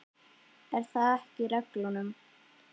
Er það ekki í reglunum?